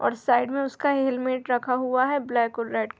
और साइड में उसका हेलमेट रखा हुआ है ब्लैक और रेड --